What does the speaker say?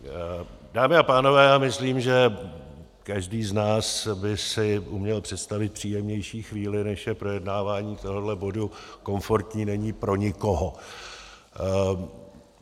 Dámy a pánové, já myslím, že každý z nás by si uměl představit příjemnější chvíli, než je projednávání tohoto bodu, komfortní není pro nikoho.